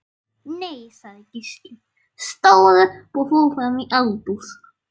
Nei, sagði Gísli, stóð upp og fór fram í eldhús.